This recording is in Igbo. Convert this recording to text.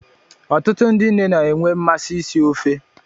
Ọtụtụ ndị nne na enwe mmasị isi ofe